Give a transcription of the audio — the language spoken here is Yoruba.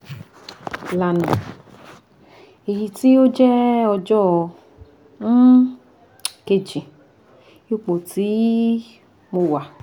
lana (eyiti o jẹ ọjọ um keji ipo ti mo wa)